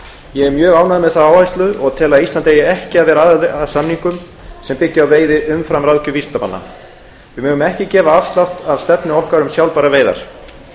ég er mjög ánægður með þá áherslu og tel að ísland eigi ekki að vera aðili að samningum sem byggja á veiði umfram ráðgjöf vísindamanna við megum ekki gefa afslátt af stefnu okkar um sjálfbærar veiðar